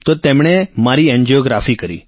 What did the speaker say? તો તેમણે મારી એન્જિયોગ્રાફી કરી